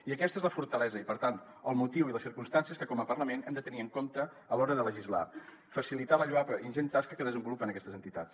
i aquesta és la fortalesa i per tant el motiu i les circumstàncies que com a parlament hem de tenir en compte a l’hora de legislar facilitar la lloable i ingent tasca que desenvolupen aquestes entitats